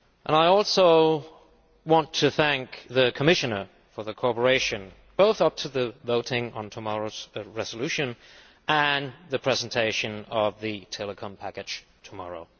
I also want to thank the Commissioner for her cooperation, both in the run up to the voting on tomorrow's resolution and the presentation of the telecom package tomorrow.